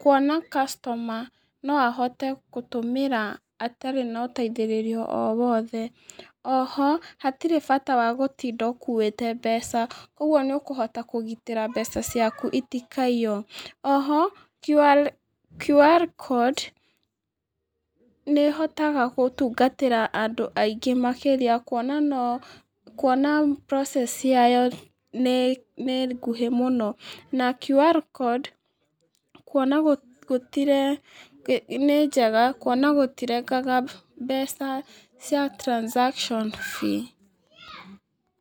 kuona customer no ahote gũtũmĩra atarĩ na ũteithĩrĩrio o wothe. Oho, hatirĩ bata wa gũtinda ũkuĩte mbeca. Ũguo nĩ ũkũhota kũgitĩra mbeca ciaku itikaiywo. Oho, QR kondi nĩ ĩhotaga gũtungatĩra andũ aingĩ makĩrĩa kwona process ya yo nĩ nguhĩ mũno. Na QR kondi kuona gũtirengaga, nĩ njega kuona gũtirengaga mbeca cia transaction fee.